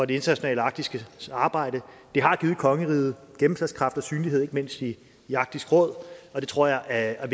det internationale arktiske arbejde det har givet kongeriget gennemslagskraft og synlighed ikke mindst i arktisk råd og det tror jeg er